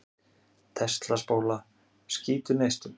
Tesla-spóla skýtur neistum.